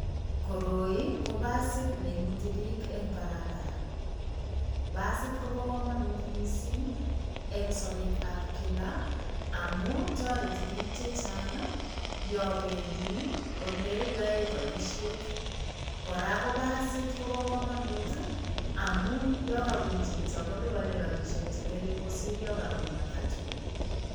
Koroi ko basit neimuti piik eng barabara, basit kobo kamanut mising eng sobetab kila amu toreti piik che chang ii yo bendi ole yoe boisiet. Kora ko basit kobo kamanut ii amu yo kabun chito koliponi rabiishek che ngering kosir yo kabun matatu.